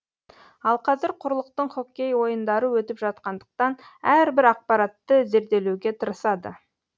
ал қазір құрлықтың хоккей ойындары өтіп жатқандықтан әрбір ақпаратты зерделеуге тырысады